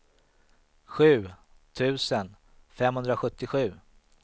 sju tusen femhundrasjuttiosju